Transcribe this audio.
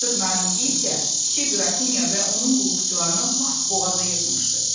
Herq Naringi isə kiçik qrafinya və onun qulluqçularını lap boğaza yığmışdı.